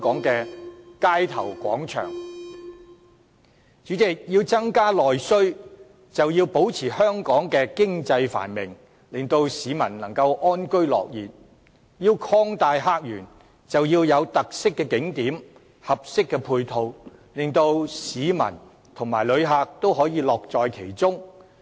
主席，要增加內需，便要保持香港經濟繁榮，令市民能夠安居樂業；要擴大客源，便要有有特色的景點，合適的配套，令市民和旅客也可以樂在其中。